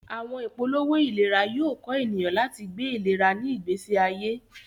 Awọn ipolowo ilera yoo kọ eniyan lati gbe ilera ni igbesi aye.